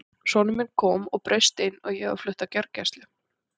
Sonur minn kom og braust inn og ég var flutt á gjörgæslu.